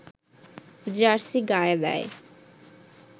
jersey গায়ে দেয়